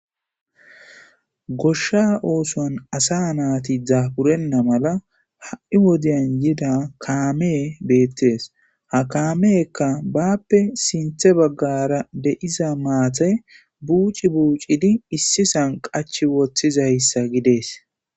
goshsha oosoan asa naati daburenna mala ha7i wodiyan yida kaamee beettees ha kaameekka bappe sinthe baggara de7iza maate buuci buucidi issisan qachi woththizayssa gidees